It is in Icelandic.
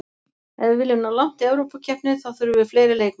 Ef við viljum ná langt í Evrópukeppni þá þurfum við fleiri leikmenn.